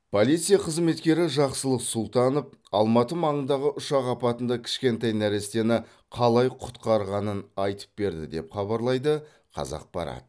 полиция қызметкері жақсылық сұлтанов алматы маңындағы ұшақ апатында кішкентай нәрестені қалай құтқарғанын айтып берді деп хабарлайды қазақпарат